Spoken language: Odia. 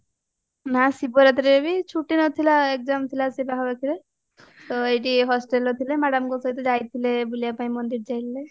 ନାଁ ଶିବ ରାତ୍ରିରେ ବି ଛୁଟି ନଥିଲା exam ଥିଲା ତ ଏଇଠି hostelରେ ଥିଲେ madamଙ୍କ ସହିତ ଯାଇଥିଲେ ବୁଲିବା ମନ୍ଦିର ଯାଇଥିଲେ